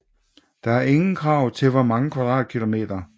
Der er ingen krav til hvor mange kvm